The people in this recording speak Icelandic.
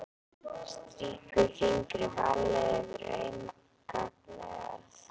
Strýkur fingri varlega yfir auma gagnaugað.